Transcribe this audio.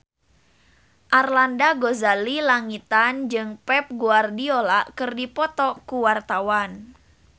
Arlanda Ghazali Langitan jeung Pep Guardiola keur dipoto ku wartawan